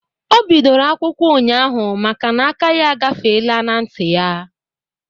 Ọ bidoro akwụkwọ ụnyaahụ makana aka ya agafele n'nti ya